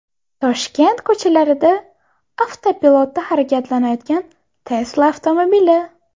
Toshkent ko‘chalarida avtopilotda harakatlanayotgan Tesla avtomobili.